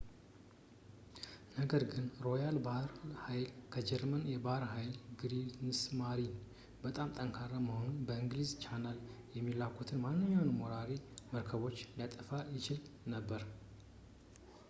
ነገር ግን የሮያል ባሕር ኃይል ከጀርመን የባሕር ኃይል ክሪግስማሪን” በጣም ጠንካራ በመሆኑ በእንግሊዝ ቻናል የሚላኩትን ማንኛውንም ወራሪ መርከቦችን ሊያጠፋ ይችል ነበር